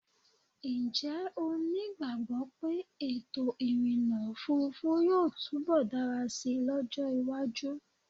Ǹjẹ́́ o nígbàgbọ́ pé ètò ìrìnnà òfurufú yóò túnbọ̀ dára sí lọ́jọ́ iwájú?